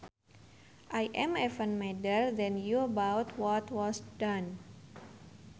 I am even madder than you about what was done